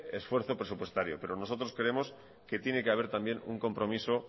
esfuerzo presupuestario pero nosotros creemos que tiene que haber también un compromiso